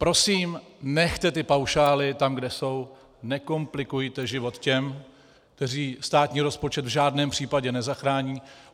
Prosím, nechte ty paušály tam, kde jsou, nekomplikujte život těm, kteří státní rozpočet v žádném případě nezachrání.